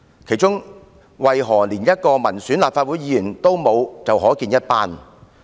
當中連一位民選立法會議員也沒有，便可見一斑。